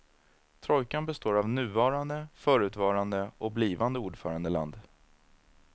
Trojkan består av nuvarande, förutvarande och blivande ordförandeland.